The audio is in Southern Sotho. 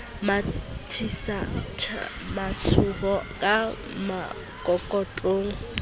mathisaka matshoho ka mokokotlong ho